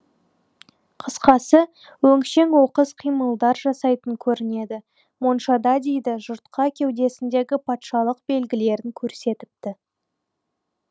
қысқасы өңшең оқыс қимылдар жасайтын көрінеді моншада дейді жұртқа кеудесіндегі патшалық белгілерін көрсетіпті